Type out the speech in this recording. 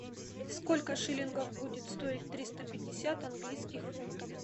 сколько шиллингов будет стоить триста пятьдесят английских фунтов